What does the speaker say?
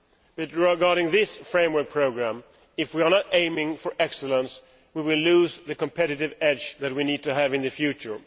With regard to this framework programme, if we do not aim for excellence, we will lose the competitive edge that we need to have in the future.